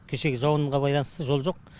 кешегі жауынға байланысты жол жоқ